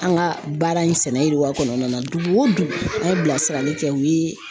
An ka baara in sɛnɛwa kɔnɔna na dugu o dugu an ye bilasirali kɛ u ye.